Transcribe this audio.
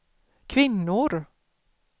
kvinnor